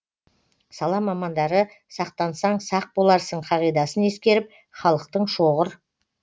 сала мамандары сақтансаң сақ боларсың қағидасын ескеріп халықтың шоғыр